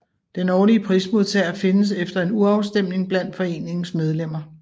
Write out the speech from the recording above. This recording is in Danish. Den årlige prismodtager findes efter en urafstemning blandt foreningens medlemmer